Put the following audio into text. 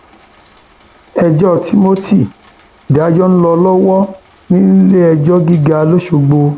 ẹjọ timothy ìdájọ ń lọ lọwọ níléẹjọ gíga lọsọgbó